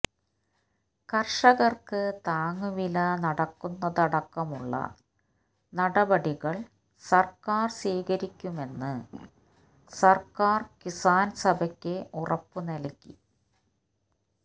കര്ഷകര്ക്കു താങ്ങുവില നടക്കുന്നതടക്കമുളള നടപടികള് സര്ക്കാര് സ്വീകരിക്കുമെന്ന് സര്ക്കാര് കിസാന് സഭക്ക് ഉറപ്പു നല്കി